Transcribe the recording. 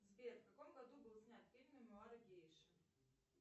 сбер в каком году был снят фильм мемуары гейши